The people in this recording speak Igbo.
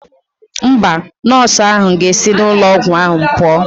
Mba, nọọsụ ahụ ga-esi n'ụlọ ọgwụ ahụ pụọ.